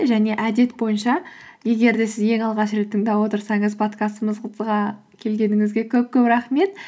және әдет бойынша егер де сіз ең алғаш рет тыңдап отырсаңыз келгеніңізге көп көп рахмет